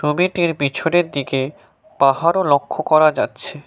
ছবিটির পিছনের দিকে পাহাড়ও লক্ষ্য করা যাচ্ছে।